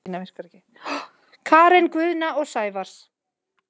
Karen Guðna og Sævars